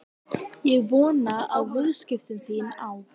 Ég vona að viðskipti þín á